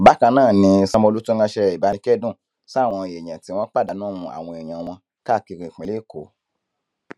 bákan náà ni sanwóolu tún ránṣẹ ìbánikẹdùn sáwọn èèyàn tí wọn pàdánù àwọn èèyàn wọn káàkiri ìpínlẹ èkó